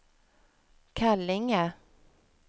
Kallinge